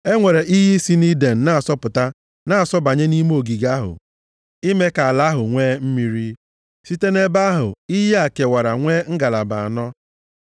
E nwere iyi si nʼIden na-asọpụta na-asọbanye nʼime ogige ahụ ime ka ala ahụ nwee mmiri. Site nʼebe ahụ, iyi a kewara nwee ngalaba anọ.